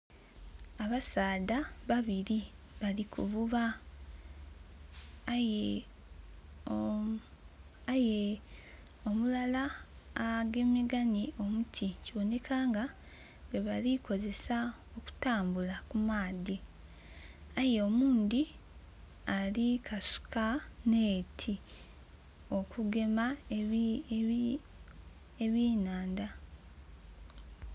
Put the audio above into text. Abasaadha babiri bali kuvuba aye omulala agemageine n'omuti kiboneka nga gwebali okukozesa okutambula ku maadhi, aye oghundi ali kukasuka akatimba okugema eby'enhandha